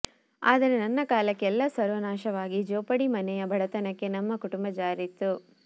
ಆದರೆ ನನ್ನ ಕಾಲಕ್ಕೆ ಎಲ್ಲ ಸರ್ವನಾಶವಾಗಿ ಜೋಪಡಿ ಮನೆಯ ಬಡತನಕ್ಕೆ ನಮ್ಮ ಕುಟುಂಬ ಜಾರಿತ್ತು